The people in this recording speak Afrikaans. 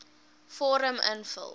vorm invul